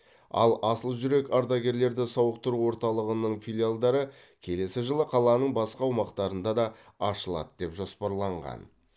ал асыл жүрек ардагерлерді сауықтыру орталығының филиалдары келесі жылы қаланың басқа аумақтарында да ашылады деп жоспарланған